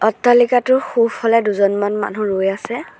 অট্টালিকাটোৰ সোঁফালে দুজনমান মানুহ ৰৈ আছে।